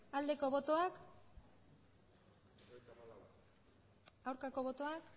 aldeko botoak aurkako botoak